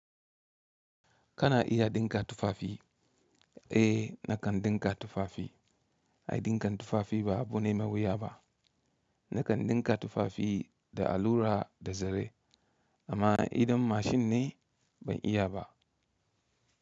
Kana iya ɗinka tufafi? Eh nakan ɗinka tufafi. Ai ɗinkan tufafi ba abune mai wuya ba. Nakan ɗinka tufafi da allura da zare amma idan mashin ne ban iya ba.